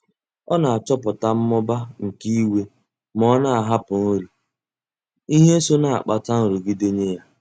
Ọ na-achọpụta mmụba nke iwe ma ọ na-ahapụ nri, ihe so na-akpata nrụgide nye ya.